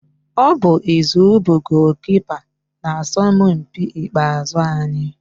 Ọ bụ Izu bụ goolukipa n'asọmpi ikpeazụ anyị?